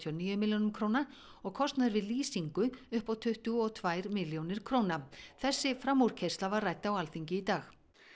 níu milljónum króna og kostnaður við lýsingu upp á tuttugu og tvær milljónir króna þessi framúrkeyrsla var rædd á Alþingi í dag